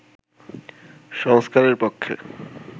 সংস্কারের পক্ষে